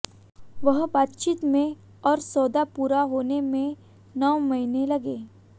वहां बातचीत में और सौदा पूरा होने में नौ महीने लगे